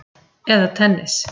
Eða tennis!